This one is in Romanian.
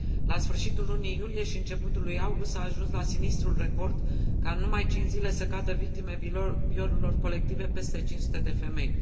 La sfârșitul lunii iulie și începutul lui august s a ajuns la sinistrul record ca în numai 5 zile să cadă victime violurilor colective peste 500 de femei.